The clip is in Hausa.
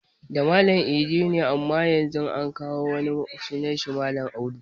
Da Malam idi ne amma Yanzu an kawo wani malami sunan shi Audu